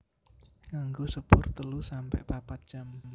Nganggo sepur telu sampe papat jam